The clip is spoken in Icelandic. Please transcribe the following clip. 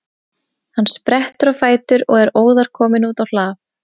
Hann sprettur á fætur og er óðar kominn út á hlað.